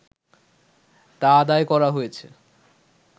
তা আদায় করা হয়েছে